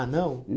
Ah, não?